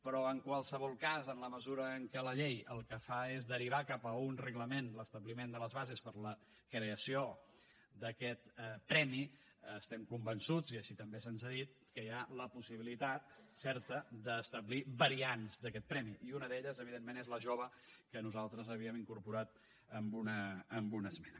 però en qualsevol cas en la mesura en què la llei el que fa és derivar cap a un reglament l’establiment de les bases per a la creació d’aquest premi estem convençuts i així també se’ns ha dit que hi ha la possibilitat certa d’establir variants d’aquest premi i una d’elles evidentment és la jove que nosaltres havíem incorporat en una esmena